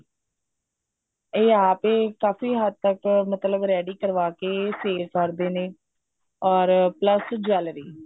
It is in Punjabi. ਇਹ ਆਪ ਏ ਕਾਫੀ ਹੱਦ ਤੱਕ ਮਤਲਬ ready ਕਰਵਾਕੇ ਫੇਰ ਕਰਦੇ ਨੇ or plus jewelry